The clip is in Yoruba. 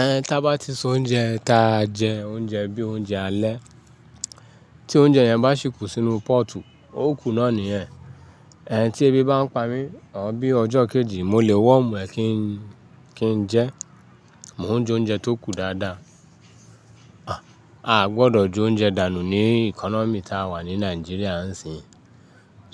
Ẹ̀ ta bá ti se oúnjẹ ta jẹ oúnjẹ bí i oúnjẹ alẹ́, tí oúnjẹ yẹn bá ṣì kù sínú pọ́ọ̀tù, ó kù náà ní yen. Ẹ̀ tí ebi bá ń pami, or bí ọjọ́ kejì, mo lè warm ẹ̀ kí n jẹ. Mò ń jóúnjẹ tó kù dáadáa. A gbọdọ̀ je oúnjẹ dànù ní economy ta wà ní Nàìjíríà ń sìn.